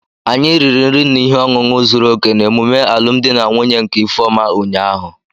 Anyi riri nri na ihe ọṅụṅụ zuru oke n'emume alụmdi na nwunye nke ifeoma ụnyahụ